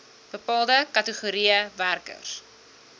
bepaalde kategorieë werkers